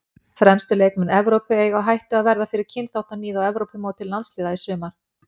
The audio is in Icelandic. Fremstu leikmenn Evrópu eiga á hættu að verða fyrir kynþáttaníð á Evrópumóti landsliða í sumar.